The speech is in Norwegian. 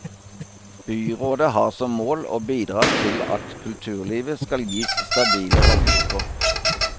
Byrådet har som mål å bidra til at kulturlivet skal gis stabile rammevilkår.